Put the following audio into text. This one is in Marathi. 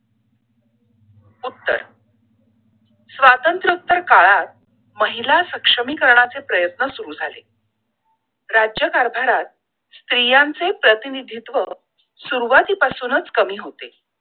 उत्तर स्वातंत्र्य उत्तर काळात महिला सक्षमीकरणाचे प्रयत्न सुरु झाले! राज्यकारभारात स्त्रियांचे प्रतिनिधित्व सुरुवाती पसूनच कमी होते!